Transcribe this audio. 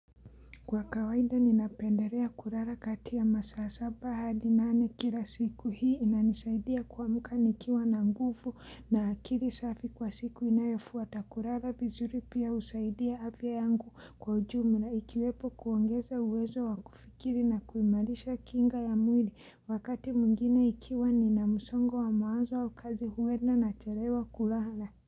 Kwa kawaida ninapenderea kurara katiya masaa saba hadi nane kila siku hii inanisaidia kuamuka nikiwa na ngufu na akiri safi kwa siku inayofuata kurara vizuri pia usaidia afya yangu kwa ujumu na ikiwepo kuongeza uwezo wa kufikiri na kuimalisha kinga ya mwili wakati mwingine ikiwa nina msongo wa mawazo au kazi huwenda nacharewa kurara.